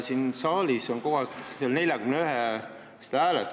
Siin saalis on mitu korda nimetatud 41 poolthäält.